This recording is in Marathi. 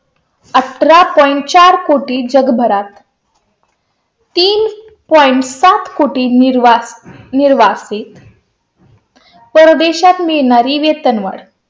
अठरा पंचचार कोटी जगभरात तीन point कुठे निर्वाळ निर्वासित . परदेशात मिळणारी वेतनवाढ.